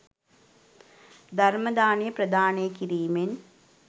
ධර්ම දානය ප්‍රදානය කිරීමෙන්